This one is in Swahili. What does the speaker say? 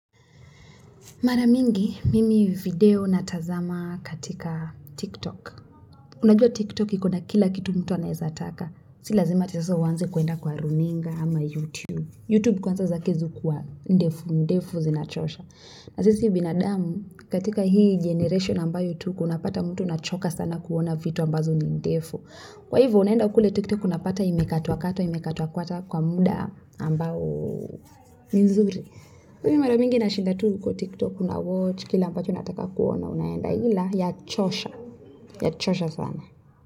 Maramingi, mimi video natazama katika TikTok. Unajua TikTok ikona kila kitu mtu anaezataka. Silazima eti sasa uanze kuenda kwa runinga ama YouTube. YouTube kwanza zake ziukuwa ndefu, ndefu zinachosha. Na sisi binadamu katika hii generation ambayo tuko unapata mtu unachoka sana kuona vitu ambazo ni ndefu. Kwaivo unaenda kule TikTok unapata imekatwa katwa, imekatwa katwa kwa muda ambao nizuri. Mimi mara mingi na shinda tu huko tiktok na watch Kila ambacho unataka kuona unaenda Hila ya chosha ya chosha sana.